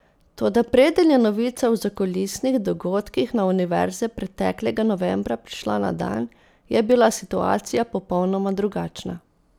Toda preden je novica o zakulisnih dogodkih na univerze preteklega novembra prišla na dan, je bila situacija popolnoma drugačna.